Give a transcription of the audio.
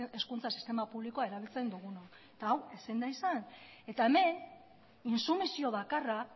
hezkuntza sistema publikoa erabiltzen dugunok eta hau ezin da izan eta hemen intsumisio bakarra